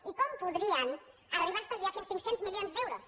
i com podrien arribar a estalviar fins a cinc cents milions d’euros